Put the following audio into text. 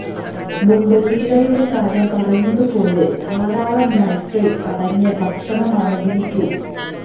മുമ്പ് ചീരയുടെ കാര്യം പറഞ്ഞതുപോലെ ധാരാളം നൈട്രേറ്റ് അടങ്ങിയ ഭക്ഷണമാണ് ബീറ്റ്റൂട്ട്